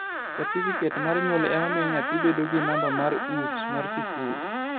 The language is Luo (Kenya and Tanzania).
Satifiket many nyuol ema miyo nyathi bedo gi number mar Ups mar sikul